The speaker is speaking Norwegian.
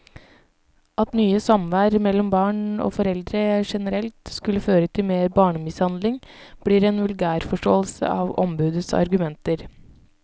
At mye samvær mellom barn og foreldre generelt skulle føre til mer barnemishandling, blir en vulgærforståelse av ombudets argumenter.